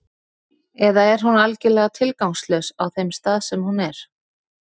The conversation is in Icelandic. Eða er hún algjörlega tilgangslaus á þeim stað sem hún er?